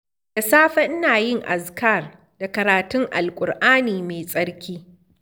Da safe ina yin azkar da karatun Alkur'ani mai tsarki.